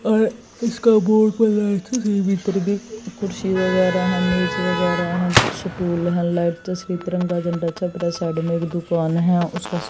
इसका बोर्ड कुर्सी वगैरा हैं मेज वगैरा स्टूल है लाइट तिरंगा झंडा छपरा साइड में एक दुकान है उसका--